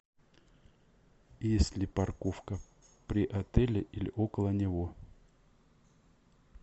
есть ли парковка при отеле или около него